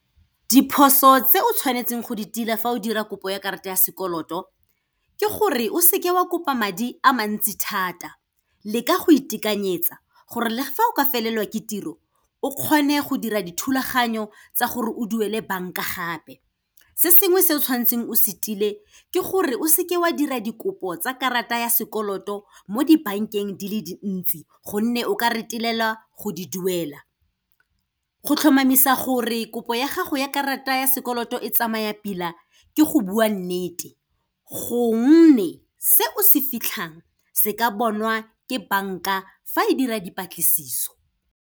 Diphoso tse o tshwanetseng go di tila fa o dira kopo ya karata ya sekoloto ke gore, o seke wa kopa madi a mantsi thata, leka go itekanyetsa gore le fa o ka felelwe ke tiro, o kgone go dira dithulaganyo tsa gore o duele bank-a gape. Se sengwe se o tshwanetseng o se tile ke gore, o seke wa dira dikopo tsa karata ya sekoloto mo di-bank-eng di le dintsi gonne, o ka retelelwa go di duela. Go tlhomamisa gore kopo ya gago ya karata ya sekoloto e tsamaya pila ke go bua nnete gonne, se o se fitlhang se ka bonwa ke bank-a fa e dira dipatlisiso.